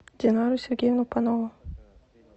динару сергеевну панову